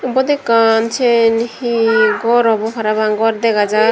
ibot ekkan syen he gor obo parapang gor dega jar.